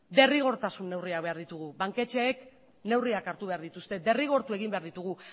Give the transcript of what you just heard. derrigortasun neurriak behar dugu banketxeek neurriak hartu behar dituzte derrigortu egin behar ditugu